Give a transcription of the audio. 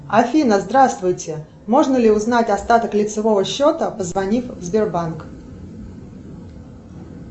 афина здравствуйте можно ли узнать остаток лицевого счета позвонив в сбербанк